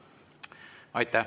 Aitäh!